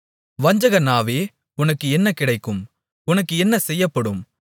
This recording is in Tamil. வஞ்சக நாவே உனக்கு என்ன கிடைக்கும் உனக்கு என்ன செய்யப்படும்